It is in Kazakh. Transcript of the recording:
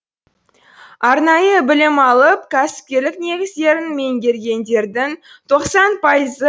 арнайы білім алып кәсіпкерлік негіздерін меңгергендердің тоқсан пайызы